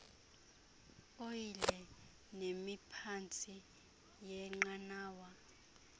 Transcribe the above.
oyile nemiphantsi yeenqanawa